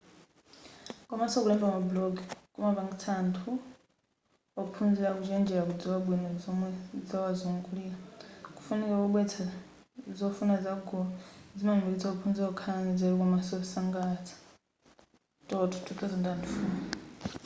komanso kulemba mabulogu kumalimbikitsa ophunzira kuchenjera kudziwa bwino zomwe zawazungulira.” kufunika kobweretsa zofuna za gulu zimalimbikitsa ophunzira kukhala a nzeru komanso osangalatsa toto 2004